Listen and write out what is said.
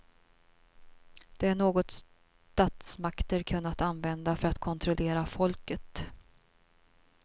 Det är något statsmakter kunnat använda för att kontrollera folket.